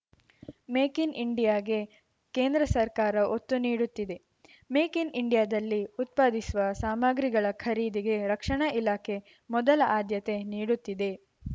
make in ಇಂಡಿಯಾಗೆ ಕೇಂದ್ರ ಸರ್ಕಾರ ಒತ್ತು ನೀಡುತ್ತಿದೆ ಮೇಕ್‌ ಇನ್‌ ಇಂಡಿಯಾದಲ್ಲಿ ಉತ್ಪಾದಿಸುವ ಸಾಮಗ್ರಿಗಳ ಖರೀದಿಗೆ ರಕ್ಷಣಾ ಇಲಾಖೆ ಮೊದಲ ಆದ್ಯತೆ ನೀಡುತ್ತಿದೆ